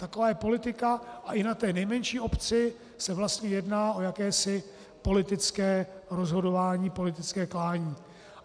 Taková je politika a i na té nejmenší obci se vlastně jedná o jakési politické rozhodování, politické klání.